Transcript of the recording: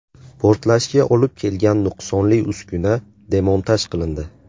Portlashga olib kelgan nuqsonli uskuna demontaj qilindi.